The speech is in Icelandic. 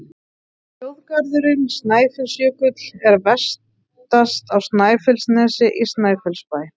Þjóðgarðurinn Snæfellsjökull er vestast á Snæfellsnesi, í Snæfellsbæ.